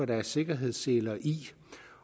der er sikkerhedsseler i